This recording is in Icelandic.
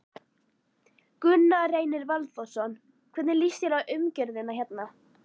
Gunnar Reynir Valþórsson: Hvernig líst þér á umgjörðina hérna?